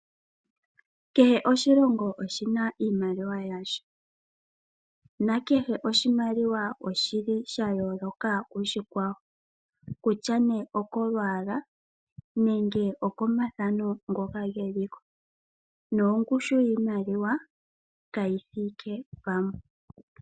Kehe oshilongo oshina iimaliwa yasho nakehe oshimaliwa oshili sha yooloka koshikwawo kutya ne okolwaalwa nenge oko mathano ngoka geliko nongushu yiimaliwa kayi thike pamwe.